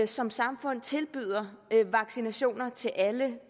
som samfund tilbyder vaccinationer til alle